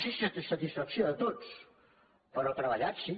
si a satisfacció de tots però hi ha treballat sí